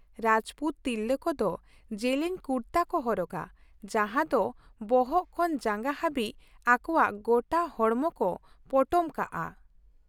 ᱨᱟᱡᱯᱩᱛ ᱛᱤᱨᱞᱟᱹ ᱠᱚᱫᱚ ᱡᱮᱞᱮᱧ ᱠᱩᱨᱛᱟᱹ ᱠᱚ ᱦᱚᱨᱚᱜᱟ, ᱡᱟᱦᱟᱸ ᱫᱚ ᱵᱚᱦᱚᱜ ᱠᱷᱚᱱ ᱡᱟᱸᱜᱟ ᱦᱟᱹᱵᱤᱡ ᱟᱠᱳᱣᱟᱜ ᱜᱚᱴᱟ ᱦᱚᱲᱢᱚ ᱠᱚ ᱯᱚᱴᱚᱢ ᱠᱟᱜᱼᱟ ᱾